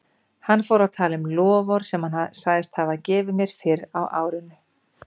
Hann fór að tala um loforð sem hann sagðist hafa gefið mér fyrr á árinu.